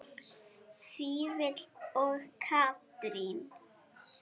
Vífill og Katrín.